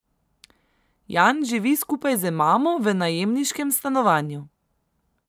Jan živi skupaj z mamo v najemniškem stanovanju.